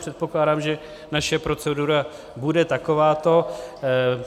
Předpokládám, že naše procedura bude takováto.